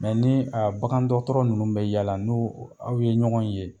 ni a bakan dɔgɔtɔrɔ nunnu bɛ yala n'o aw ye ɲɔgɔn ye